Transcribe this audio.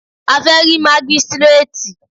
A fẹ́ rí mágístrètì.